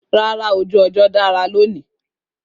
Rárá, ojú ọjọ́ dára lónìí